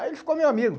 Aí ele ficou meu amigo.